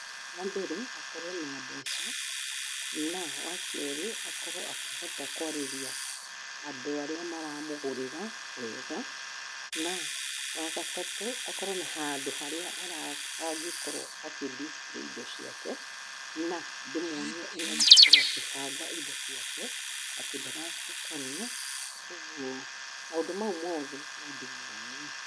Wambere akorwo na mbeca, na wakerĩ akorwo akĩhota kũarĩria andũ arĩa maramũgũrĩra wega, na wagatatũ, akorwo na handũ harĩa angĩkorwo akĩ dispaly indo ciake, na ndĩmuonie ũrĩa kũbanga indo ciake, atĩ ndaracitukania. kuoguo maũndũ mau mothe nondĩmuonie.